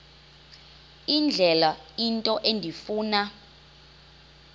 indlela into endifuna